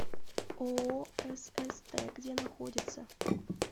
ооо сст где находится